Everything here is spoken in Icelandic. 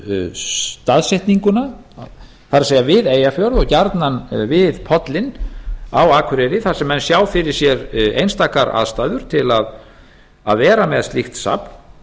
staðsetninguna það er við eyjafjörð og gjarnan við pollinn á akureyri þar sem menn sjá fyrir sér einstakar aðstæður til að vera með slíkt safn